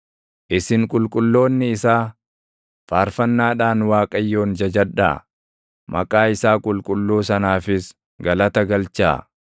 Isin qulqulloonni isaa, faarfannaadhaan Waaqayyoon jajadhaa; maqaa isaa qulqulluu sanaafis galata galchaa.